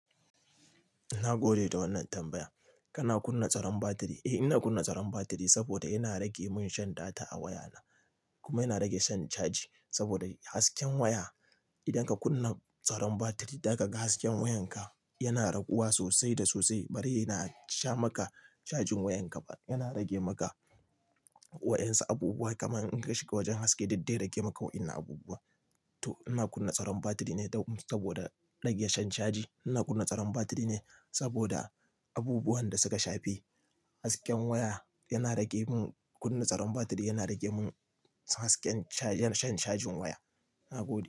Nagode da wannan tambaya. Kana kunna tsaron batiri? Eh, ina kunna tsaron batiri saboda yana rage min shan data a wayana. Kuma yana rage shan caji saboda hasken waya idan ka kunna tsaron batiri, daga hasken wayanka yana raguwa sosai da sosai. Bari yana sha maka cajin wayanka ba, yana rage maka wa yansu abubuwa kamar in ka shiga wajen haske du zai rage maka waɗannan abubuwa. To ina kunna tsaron batiri ne saboda rage shan caji. Ina kunna tsaron batiri ne saboda abubuwan da suka shafe. Hasken waya yana rage mun, kunna tsaron batiri yana rage mun hasken shan cajin waya. Nagode.